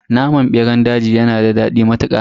Naman beran daji yanada dadi matuka.